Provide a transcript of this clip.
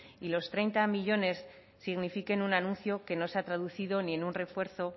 y los treinta millónes signifiquen un anuncio que no se ha traducido ni en un refuerzo